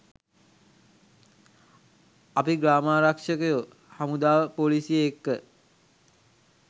අපි ග්‍රාමාරක්ෂකයො හමුදාව පොලිසිය එක්ක